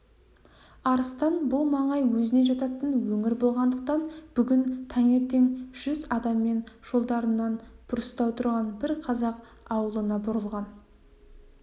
арыстан бұл маңай өзіне жататын өңір болғандықтан бүгін таңертең жүз адаммен жолдарынан бұрыстау тұрған бір қазақ аулына бұрылған